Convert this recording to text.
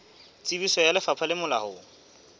tsebiso ya lefapha le molaong